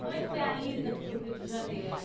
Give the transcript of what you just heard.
Como é que foi a ida para o Rio de Janeiro?